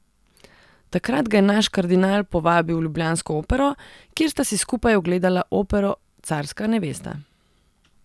Takrat ga je naš kardinal povabil v ljubljansko Opero, kjer sta si skupaj ogledala opero Carska nevesta.